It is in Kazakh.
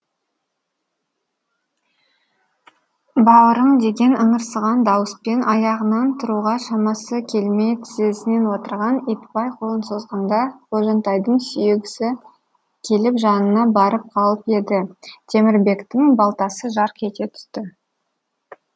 бауырым деген ыңырсыған дауыспен аяғынан тұруға шамасы келмей тізесінен отырған итбай қолын созғанда қожантайдың сүйегісі келіп жанына барып қалып еді темірбектің балтасы жарқ ете түсті